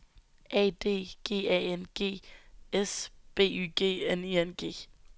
A D G A N G S B Y G N I N G